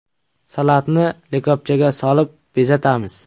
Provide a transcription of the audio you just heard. Salatni likopchaga solib, bezatamiz.